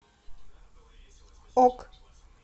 ок